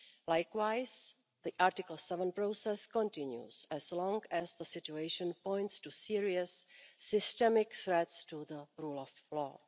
Likewise, the Article 7 process continues as long as the situation points to serious systemic threats to the rule of law.